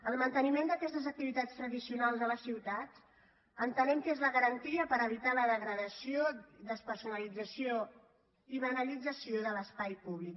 el manteniment d’aquestes activitats tradicionals a la ciutat entenem que és la garantia per evitar la degradació despersonalització i banalització de l’espai públic